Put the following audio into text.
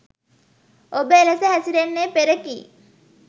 ඔබ එලෙස හැසිරෙන්නේ පෙර කී